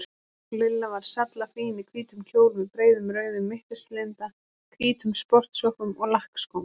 Lilla var sallafín í hvítum kjól með breiðum rauðum mittislinda, hvítum sportsokkum og lakkskóm.